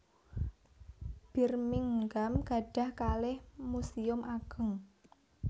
Birmingham gadhah kalih muséum ageng